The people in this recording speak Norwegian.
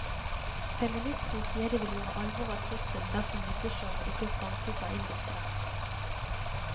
Feministene sier de vil gjøre alvor av trusselen dersom misseshowet ikke stanses av indisk rett.